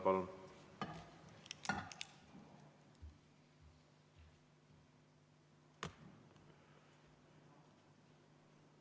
Palun!